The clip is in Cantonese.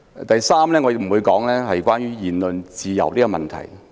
第三，我不會討論言論自由。